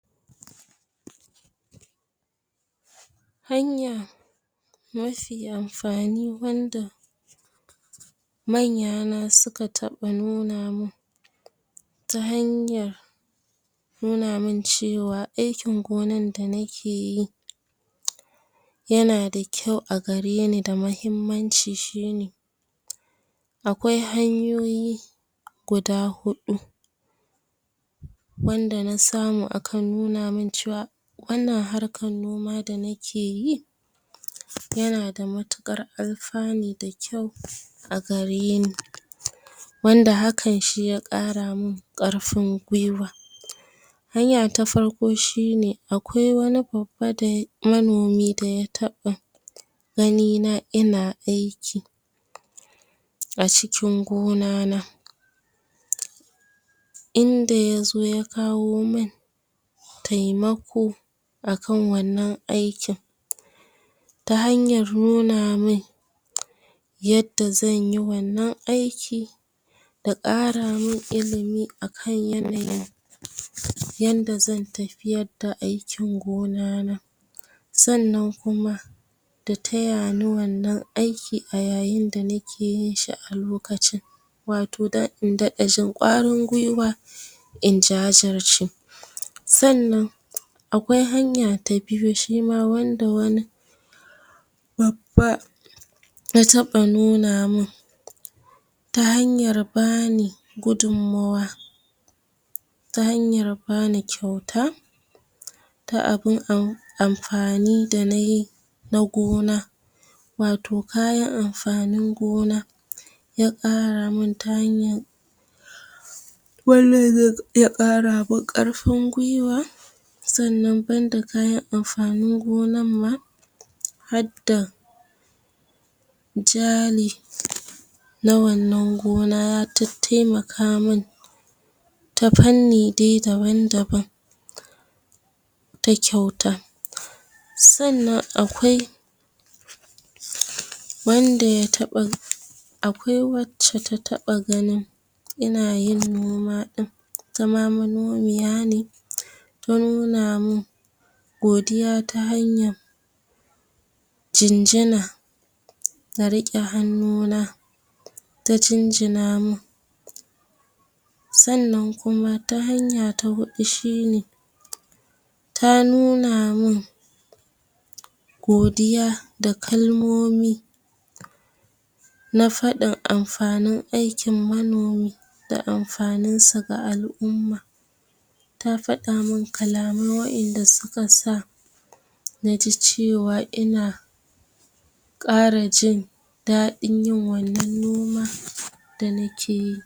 Hanya mafi amfani wanda manya na suka nuna mun, ta hanyar nuna mun cewa aikin gonar da nake yi yana da kyau a gare ni da mahimmanci shine, akwai hanyoyi guda huɗu wanda na samu aka nuna mun, cewa wannan harkan noma da nakeyi, yana da matuƙar alfani da kyau a gare ni, wanda hakan shi ya ƙara mun ƙarfun gwuiwa. Hanya ta farko shine, akwai wani manomi da ya taɓa gani na ina aiki a cikin gona na, inda yazo ya kawo mun taimako a kan wannan aikin, ta hanyar nuna mun yadda zanyi wannan aiki, da ƙara mun ilimi a kan yanayi yanda zan tafiyar da aikin gona na. Sannan kuma, da taya ni wannan aiki a yayin da nake yin shi a lokacin, wato dan in daɗa jin ƙwarin gwuiwa, in jajirce. Sannan akwai hanya ta biyu shima, wanda wani babba ya taɓa nuna mun, ta hanyar bani gudunmmawa, ta hanyar bani kyauta, ta abun amfani da nayi na gona, wato kayan amfanin gona ya ƙara mun, ta hanyan wannan zai ƙara mun ƙarfin gwuiwa, sannan banda kayan amfanin gonan ma, hadda jaːli na wannan gona, ya tattaimaka mun ta fanni dai daban-daban ta kyauta. Sannan akwai wanda ya taɓa akwai wacce ta taɓa ganin ina yin noma ɗin, itama manomiya ne, ta nuna mun godiya, ta hanyan jinjina, ta riƙe hannu na ta jinjina mun. Sannan kuma ta hanya ta huɗu shine, ta nuna mun godiya, da kalmomi na faɗin amfanin aikin manomi, da amfanin su ga al'umma. Ta faɗa mun kalamai wa'inda suka sa naji cewa ina ƙara jin daɗin yin wannan noma da nake yi.